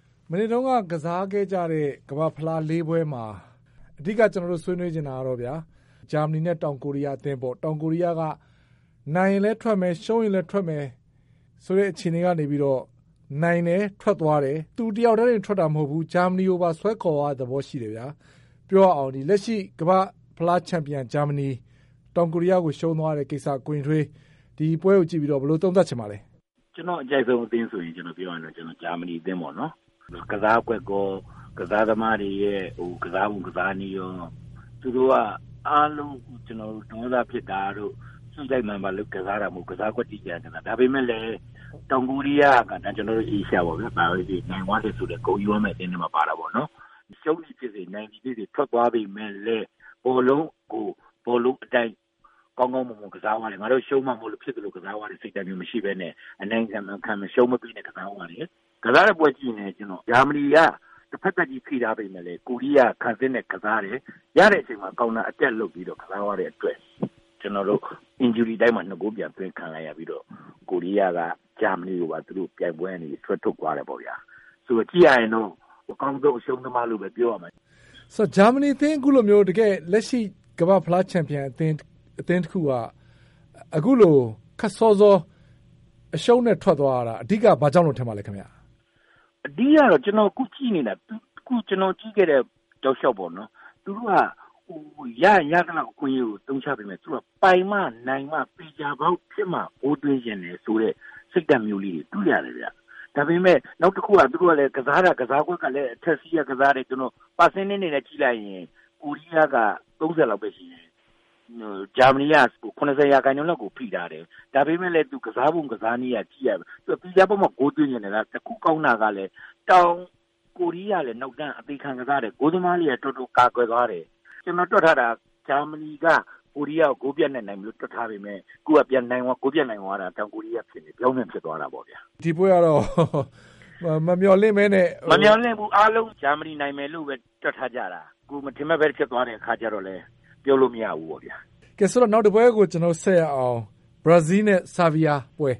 ။ မနေ့တုန်းက ကစားခဲ့ကြတဲ့ ကမ္ဘာ့ဖလားပွဲ ၄ ပွဲမှာအဓိက ကျွန်တော်တို့ဆွေးနွေးချင်တာကတော့ ဂျာမဏီနဲ့တောင်ကိုရီးယားအသင်းပေါ့။ တောင်ကိုရီးယားက နိုင်ရင်လည်းထွက်မယ်၊ ရှုံးရင်လည်းထွက်မယ် ဆိုတဲ့အခြေအနေကနေပြီးတော့ နိုင်တယ်။ ထွက်သွားတယ်။ သူတင်မဟုတ်ဘူး၊ ဂျာမဏီကိုပါ ဆွဲခေါ်သွားတဲ့ သဘောရှိတယ်။ လက်ရှိ ကမ္ဘာ့ဖလားချန်ပီယံ ဂျာမဏီ -တောင်ကိုရီးယားကို ရှုံးသွားတဲ့ ကိစ္စ ကိုယဉ်ထွေး ဒီပွဲအပေါ် ဘယ်လို သုံးသပ်ချင်ပါသလဲ။ ဦးရင်ထွေး။ ။ ကျွန်တော် အကြိုက်ဆုံးအသင်းက ဂျာမဏီအသင်းပေါ့နော်။ ကစားကွက်ကော၊ ကစားသမားတွေရဲ့ ကစားပုံ ကစားနည်းကော၊ ဒေါသဖြစ်တာ၊ စိတ်လိုက်မာန်ပါကစားတာ မဟုတ်ဘူး။ ကစားကွက် တိတိကျကျ ကစားတာ။ ဒါပေမဲ့လည်း တောင်ကိုရီးယားက ကျွန်တော်တို့အာရှပေါ့ဗျာ။ နိုင်သွားတယ်ဆိုတော့ ဂုဏ်ယူရမယ့် အသင်းထဲမှာ ပါတာပေါ့။ ရှုံးသည်ဖြစ်စေ၊ နိုင်သည်ဖြစ်စေ ထွက်သွားပေမဲ့လည်း ဘောလုံးကို ဘောလုံးအတိုင်း ကောင်းကောင်းမွန်မွန် ကစားသွားတယ်။ ရှုံးမှာမို့လို့ဖြစ်သလို ကစားသွားတာမရှိပဲနဲ့ အနိုင်မခံ အရှုံးမပေးနဲ့ ကစားသွားတယ်။ ကစားတဲ့ပွဲ ကြည့်ရင်လည်း ဂျာမဏီက တဘက်သတ်ကြီး ဖိထားပေမယ့်လည်း ကိုရီးယားက ခံစစ်နဲ့ကစားတယ်။ ရတဲ့အချိန်မှာ counter attack လုပ်ပြီး ကစားသွားတဲ့အတွက် ကျွန်တော်တို့ injury time မှာ ၂ ဂိုးပြန်သွင်းခံလိုက်ရပြီးတော့ ကိုရီးယားက ဂျာမဏီကိုပြိုင်ပွဲက ဆွဲထုတ်သွားခဲ့တယ် ပေါ့ဗျာ။ အကောင်းဆုံး အရှုံးသမားလို့ပဲ ပြောရမယ်။ VOA မေး။ ။ ဂျာမဏီအသင်း လက်ရှိ ကမ္ဘာ့ဖလား ချန်ပီယံအသင်းတခုကနေ အခုလိုခပ်စောစော အရှုံးနဲ့ထွက်သွားရတာ အဓိက ဘာကြောင့်လို့ထင်ပါသလဲ ခင်ဗျာ။ ဦးရင်ထွေး။ ။ အဓိက ကတော့ အခုကျွန်တော် ကြည့်ခဲ့တဲ့ တောက်လျှောက်ပေါ့နော်၊ သူတို့က ရရင် ရသလောက် အခွင့်အရေးကို အသုံးချပေမယ့် ပိုင်မှနိုင်မှ သေချာပေါက်ဖြစ်မှ ဂိုးသွင်းချင်တဲ့ စိတ်ဓါတ်မျိုးလေးတွေ တွေ့ရတယ်ဗျ။ ဒါပေမဲ့ သူတို့ ကစားတာ ကစားကွက်ကလည်း အထက်စီးက ကစားတယ်၊ ရာခိုင်နှုန်းအနေနဲ့ ကြည့်ရင် ကိုရီးယားက ၃၀ လောက်ပဲရှိမယ်။ ဂျာမဏီက ၇၀ ရာခိုင်နှုန်းလောက်ကို ဖိထားတယ်။ ဒါပေမဲ့လည်း ကစားပုံ ကစားနည်းကြည့်ရတာ သူကသေချာမှ ဂိုးသွင်းချင်တယ်။ တခုကောင်းတာက တောင်ကိုရီးယားကလည်း နောက်တန်းက သေချာခံ ကစားတယ်။ ဂိုးသမားတွေက တော်တော်ကာကွယ်သွားတယ်။ ကျွန်တော်တွက်ထားတာ ဂျာမဏီက ကိုရီးယားကို ဂိုးပြတ်နဲ့နိုင်မယ်တွက်ထားပေမဲ့ ခုက ပြောင်းပြန်ဖြစ်သွားတာပေါ့ဗျာ။ VOA မေး။ ။ ဒီပွဲကတော့ မမျှော်လင့်ပဲနဲ့... ဦးရင်ထွေး။ ။ မမျှော်လင့်ဘူး။ အားလုံး ဂျာမဏီနိုင်မယ်လို့တွက်ထားကြတာ။ မထင်မှတ်ပဲ ဖြစ်သွားတော့လည်း ပြောလို့မရဘူးပေါ့ဗျာ။ VOA မေး။ ။ နောက်တပွဲ ဆက်ရအောင်။ ဘရာဇီးနဲ့ ဆားဗီးယားပွဲ၊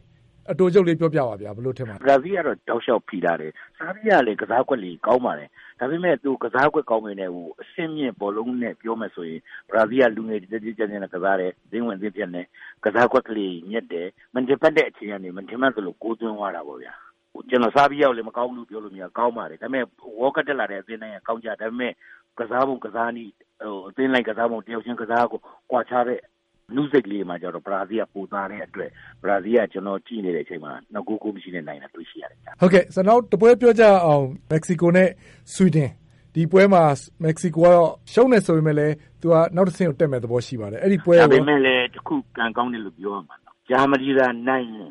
အတိုချုပ်လေးပြောပြပါ။ ဘယ်လို ထင်ပါသလဲ။ ဦးရင်ထွေး။ ။ ဘရာဇီးက တောက်လျှောက်ဖိထားတယ်။ ဆားဗီးယားကလည်း ကစားကွက်တွေ ကောင်းပါတယ်။ ဒါပေမဲ့ ကစားကွက်ကောင်းပေမဲ့ အဆင့်မြင့် ဘောလုံးနဲ့ ပြောမယ်ဆိုရင် ဘရာဇီးက ကစားကွက်လေးတွေ ညက်တယ်။ မထင်မှတ်တဲ့ အချိန်ကနေ မထင်မှတ်သလို ဂိုးသွင်းသွားတာပေါ့။ ကျွန်တော် ဆားဗီးယားကိုလည်း မကောင်းဘူးလို့ပြောလို့မရဘူး။ ကောင်းပါတယ်။ World Cup တက်လာတဲ့ အသင်းတိုင်းကောင်းကြတယ်။ ဒါပေမဲ့ ကစားပုံကစားနည်း၊ အသင်းလိုက်ကစားပုံ၊ တယောက်ချင်းကစားပုံ ကွာခြားတဲ့ အနုစိတ်လေးတွေမှာတော့ ဘရာဇီးကပိုသာတယ်။ ဘရာဇီးက ကျွန်တော် ကြည့်နေတဲ့ အချိန်မှာ ၂ ဂိုး၊ ဂိုးမရှိနဲ့နိုင်တာတွေ့ရတယ်ဗျ။ VOA မေး။ ။ နောက်တပွဲပြောကြရအောင် မက္ကဆီကို နဲ့ ဆွီဒင်။ ဒီပွဲမှာ မက္ကဆီကို က ရှုံးတယ် ဆိုပေမယ့်လဲ သူက နောက်တဆင့် တက်မယ့်သဘောရှိပါတယ်။ ဦးရင်ထွေး။ ။ ဒါပေမယ့်လည်း ခုကံကောင်းတယ်လို့ပြောရမှာပါ။ ဂျာမဏီသာနိုင်ရင်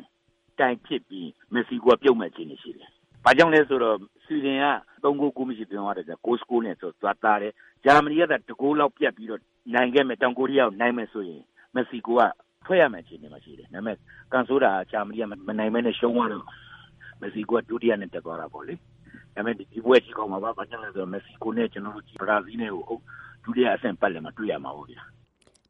Tie ဖြစ်ပြီး မက္ကဆီကို က ပြုတ်မယ့်သဘော ရှိတယ်။ ဘာကြောင့်လဲဆိုတော့ ဆွီဒင်က ၃-၀ နဲ့ ဆိုတော့ သူကသာတယ်။ ဂျာမဏီ ၂ ဂိုးနဲ့ တောင်ကိုးရီးယားကိုသာ နိုင်ခဲ့မယ်ဆိုရင် မက္ကဆီကိုက ထွက်ရမယ့် အခြေအနေ ဖြစ်နေပါတယ်။ ဒါပေမယ့် ကံဆိုးတာက ဂျာမဏီက မနိုင်ဘဲနဲ့ ရှုံးသွားတော့ မက္ကဆီကိုက ဒုတိယနဲ့ တက်သွားတာပေါ့လေ။ ဒါပေမယ့် ဒီပွဲကကြည့်ကောင်းမှာပါ။ ဘာကြောင့်လဲဆိုတော့ မက္ကဆီကိုနဲ့ ဘရာဇီးကို ဒုတိယပတ်လည်မှာတွေ့ရမှာပေါ့ဗျာ။